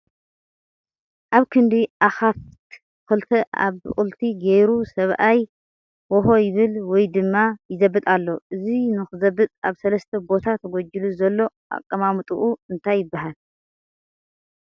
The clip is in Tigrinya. ኣብ ክንዲ አኻፍት ኽልተ ኣብቕልቲ ገይሩ ሰብኣይ ወሆ ይብል ወይ ድማ ይዘብጥ ኣሎ ፡ እቲ ንኽዝበጥ ኣብ ሰለስተ ቦታ ተጎጂሉ ዘሎ ኣቐማምጥኡ እንታይ ይበሃል ?